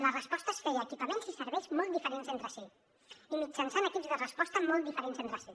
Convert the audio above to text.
la resposta es fer equipaments i serveis molt diferents entre si i mitjançant equips de resposta molt diferents entre si